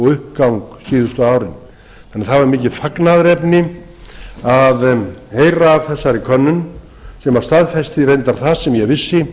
uppgang síðustu árin þannig að það var mikið fagnaðarefni að heyra af þessari könnun sem staðfesti reyndar það sem ég vissi